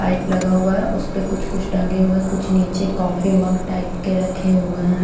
Pipe लगा हुआ है उसपे कुछ कुछ टंगे हुए कुछ नीचे कॉफी मग टाइप के रखे हुए हैं।